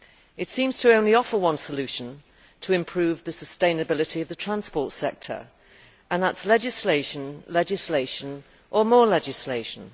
It seems to only offer one solution to improve the sustainability of the transport sector, and that is legislation, legislation or more legislation.